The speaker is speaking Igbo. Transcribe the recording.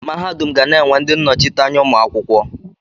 Mahadum ga na-enwe ndị nnọchiteanya ụmụ akwụkwọ.